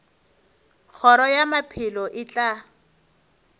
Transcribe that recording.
kgoro ya maphelo e tla